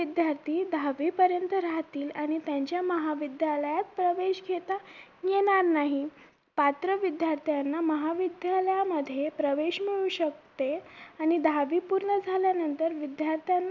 विद्यार्थी दहावी पर्यंत राहतील आणि त्यांच्या महाविद्यालयात प्रवेश घेता येणार नाही पात्र विद्यार्थ्यांना महाविद्यालया मध्ये प्रवेश मिळू शकते आणि दहावी पूर्ण झाल्या नंतर विद्यार्थ्यांना